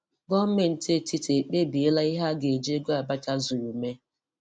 Gọọmentị etiti ekpebi la ihe a ga-eji ego Abacha zuru mee